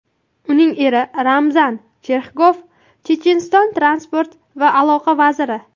Uning eri Ramzan Cherxigov Checheniston transport va aloqa vaziri.